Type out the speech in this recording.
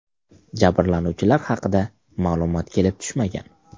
Jabrlanuvchilar haqida ma’lumot kelib tushmagan.